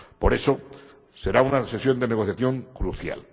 Por eso, será una sesión de negociación crucial.